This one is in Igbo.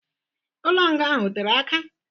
Ụlọ nga ahụ ọ tere aka?